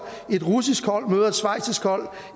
et russisk hold møder et schweizisk hold